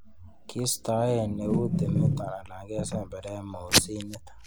Kistoen eut timiton alan kesemberen mosinit.